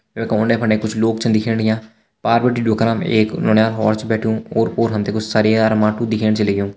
वैका उंडे फुंडे कुछ लोग छन दिखेण लग्यां पार बिटि एक नौनियाल और छ बैठ्युं ओर पोर हम ते कुछ सरिया अर माटु दिखेण छ लग्युं।